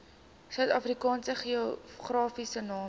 suidafrikaanse geografiese name